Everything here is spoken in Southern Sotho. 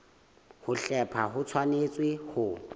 ho hlepha ho tshwanetse ho